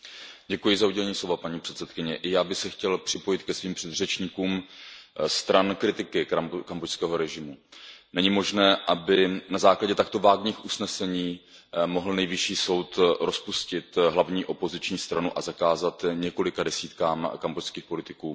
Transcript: Paní předsedající, já bych se chtěl připojit ke svým předřečníkům stran kritiky kambodžského režimu. Není možné, aby na základě takto vágních usnesení mohl Nejvyšší soud rozpustit hlavní opoziční stranu a zakázat několika desítkám kambodžských politiků jejich činnost.